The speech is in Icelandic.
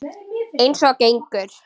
Eins og gengur.